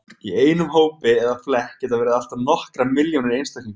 Í einum hópi eða flekk geta verið allt að nokkrar milljónir einstaklinga.